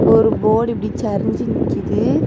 ஒரு போர்டு இப்படி சரிஞ்சு நிக்குது.